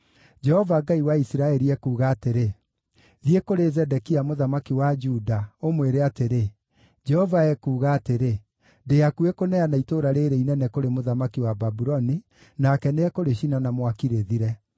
“Jehova Ngai wa Isiraeli ekuuga atĩrĩ: Thiĩ kũrĩ Zedekia mũthamaki wa Juda, ũmwĩre atĩrĩ, ‘Jehova ekuuga atĩrĩ: Ndĩ hakuhĩ kũneana itũũra rĩĩrĩ inene kũrĩ mũthamaki wa Babuloni, nake nĩekũrĩcina na mwaki rĩthire.